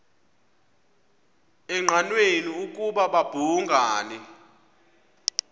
engqanweni ukuba babhungani